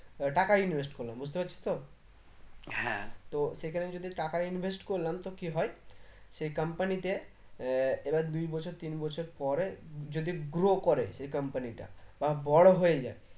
টাকা invest করলাম বুঝতে পারছিস তো তো সেখানে যদি টাকা invest করলাম তো কি হয় সেই comapny তে আহ এবার দুই বছর তিন বছর পরে যদি grow করে company টা বা বড়ো হয়ে যায়